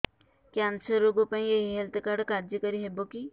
cancer ରୋଗ ପାଇଁ ଏଇ ହେଲ୍ଥ କାର୍ଡ କାର୍ଯ୍ୟକାରି ହେବ କି